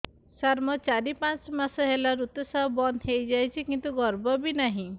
ସାର ମୋର ଚାରି ପାଞ୍ଚ ମାସ ହେଲା ଋତୁସ୍ରାବ ବନ୍ଦ ହେଇଯାଇଛି କିନ୍ତୁ ଗର୍ଭ ବି ନାହିଁ